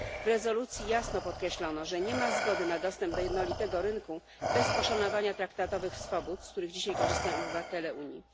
W rezolucji jasno podkreślono, że nie ma zgody na dostęp do jednolitego rynku bez poszanowania traktatowych swobód, z których dzisiaj korzystają obywatele Unii.